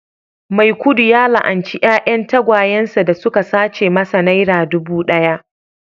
maikudu ya la'anci 'ya'yan tagwayen sa da suka sace masa naira dubu daya